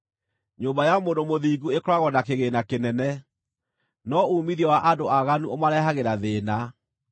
Nyũmba ya mũndũ mũthingu ĩkoragwo na kĩgĩĩna kĩnene, no uumithio wa andũ aaganu ũmarehagĩra thĩĩna.